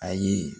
Ayi